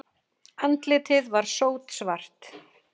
Andlitið var sótsvart.